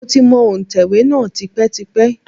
Mo ti mọ òǹtẹ̀wé náà tipẹ́tipẹ́.